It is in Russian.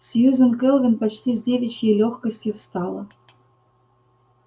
сьюзен кэлвин почти с девичьей лёгкостью встала